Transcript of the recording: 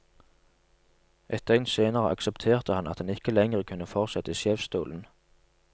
Ett døgn senere aksepterte han at han ikke lengre kunne fortsette i sjefsstolen.